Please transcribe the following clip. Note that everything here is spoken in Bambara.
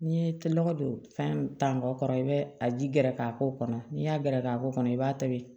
N'i ye tɛlokɔ don fɛn ta kɔrɔ i bɛ a ji gɛrɛ k'a k'o kɔnɔ n'i y'a gɛrɛ k'a ko kɔnɔ i b'a tobi